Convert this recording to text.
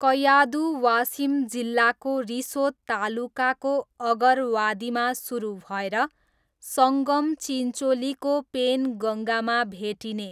कयाधु वासिम जिल्लाको रिसोद तालुकाको अगरवादीमा सुरु भएर सङ्गम चिन्चोलीको पेनगङ्गामा भेटिने